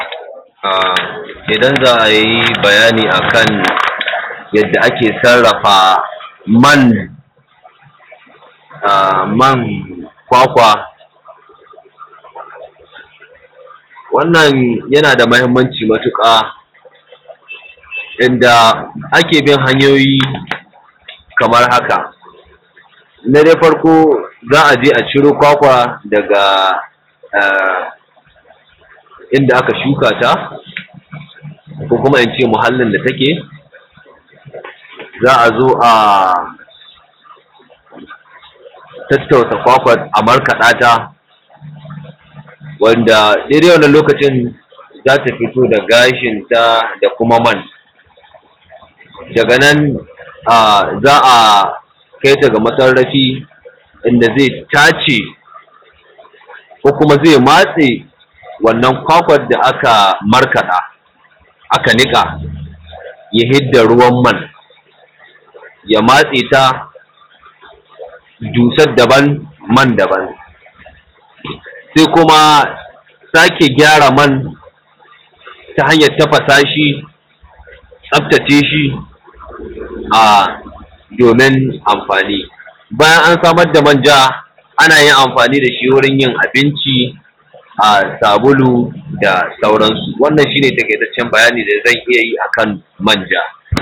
Idan za a yi bayani a kan yadda Ake sarrafa man kwakwa, wannan yana da muhimmanci matuƙa, yanda ake bi hanyoyi kamar haka. Na farko za a je a ciro kwakwan daga inda aka shuka ta, ko kuma ince muhallin da take, za a zo a tattausa kwakwan a markaɗa ta. Wanda daidai wannan lokacin za ta fito da gashinta da kuma man, daga nan za a kai ta ga masarrafi da zai tace, ko kuma zai matse wannan kwakwan da aka markaɗa, aka niƙa ya hidda ruwan man, ya matse ta dusan daban man daban. Sai kuma sake gyaran man ta hanyan tafasa shi, tsaftace shi, a domin amfani. Bayan an saman da manjan, ana yin amfani da shi wurin yin abinci, sabulu, da sauransu. Wannan shi ne taƙaitacen bayani da zan iya yi a kan manja.